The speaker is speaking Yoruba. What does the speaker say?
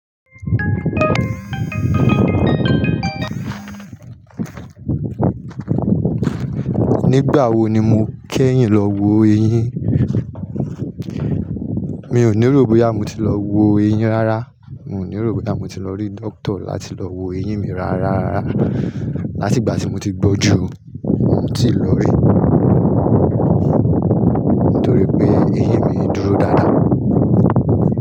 Nígbà wo ni mo kéyìn lọ wo eyín? Mi ò ní erò bóyá mo ti lọ wo eyín rárá. Mi ò ní erò bóyá mo ti lọ rí dókítà láti lọ wo eyín mi rárá. Látìgbà tí mo ti gbọn ju, mo ti lọ rí. Nítorí pé eyín mi dúró dáadáa.